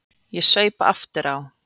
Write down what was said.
Ég saup aftur á.